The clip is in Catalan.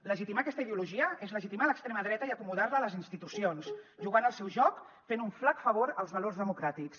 legitimar aquesta ideologia és legitimar l’extrema dreta i acomodar la a les institucions jugant el seu joc fent un flac favor als valors democràtics